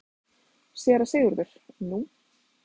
SÉRA SIGURÐUR: Nú?